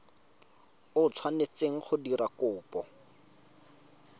o tshwanetseng go dira kopo